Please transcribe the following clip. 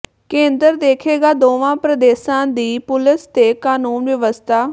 ਕੇਂਦਰ ਦੇਖੇਗਾ ਦੋਵਾਂ ਪ੍ਰਦੇਸ਼ਾਂ ਦੀ ਪੁਲਸ ਤੇ ਕਾਨੂੰਨ ਵਿਵਸਥਾ